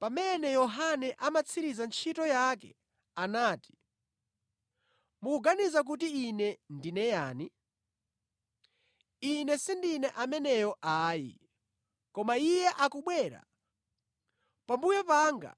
Pamene Yohane amatsiriza ntchito yake anati: ‘Mukuganiza kuti ine ndine yani? Ine sindine ameneyo ayi, koma Iye akubwera pambuyo panga,